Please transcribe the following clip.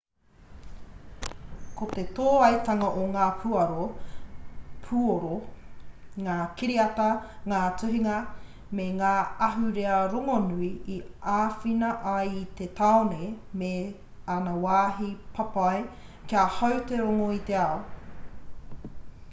ko te tōaitanga o ngā puoro ngā kiriata ngā tuhinga me ngā ahurea rongonui i āwhina ai i te tāone me ana wāhi papai kia hau te rongo i te ao